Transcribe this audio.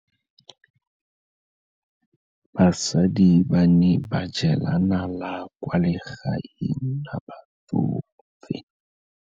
Basadi ba ne ba jela nala kwaa legaeng la batsofe.